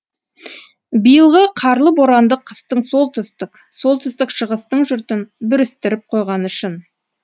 биылғы қарлы боранды қыстың солтүстік солтүстік шығыстың жұртын бүрістіріп қойғаны шын